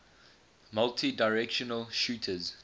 multidirectional shooters